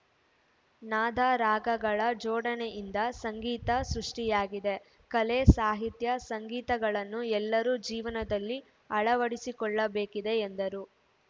ನಾದ ರಾಗಗಳ ಜೋಡಣೆಯಿಂದ ಸಂಗೀತ ಸೃಷ್ಟಿಯಾಗಿದೆ ಕಲೆ ಸಾಹಿತ್ಯ ಸಂಗೀತಗಳನ್ನು ಎಲ್ಲರೂ ಜೀವನದಲ್ಲಿ ಅಳವಡಿಸಿಕೊಳ್ಳಬೇಕಿದೆ ಎಂದರು